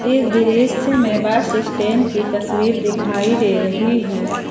इस दृश्य में बस स्टैंड की तस्वीर दिखाई दे रही है।